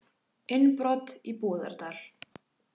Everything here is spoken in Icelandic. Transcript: Innbrot í Búðardal